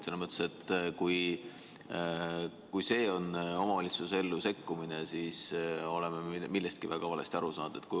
Selles mõttes, et kui see on omavalitsuse ellu sekkumine, siis me oleme millestki väga valesti aru saanud.